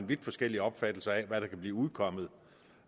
vidt forskellige opfattelser af hvad der kan blive udkommet